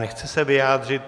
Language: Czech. Nechce se vyjádřit.